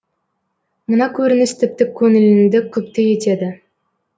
мына көрініс тіпті көңіліңді күпті етеді